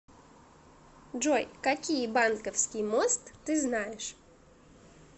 джой какие банковский мост ты знаешь